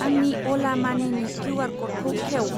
आंनि अला मानिनि किउ.आर. क'डखौ खेव।